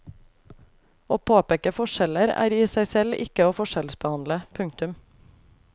Å påpeke forskjeller er i seg selv ikke å forskjellsbehandle. punktum